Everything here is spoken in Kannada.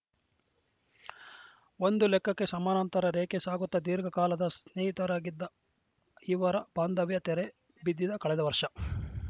ಒಂದು ಲೆಕ್ಕಕ್ಕೆ ಸಮಾನಾಂತರ ರೇಖೆ ಸಾಗುತ್ತಾ ದೀರ್ಘಕಾಲದ ಸ್ನೇಹಿತರಾಗಿದ್ದ ಇವರ ಬಾಂಧವ್ಯ ತೆರೆ ಬಿದಿದ್ದ ಕಳೆದ ವರ್ಷ